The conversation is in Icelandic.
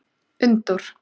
Unndór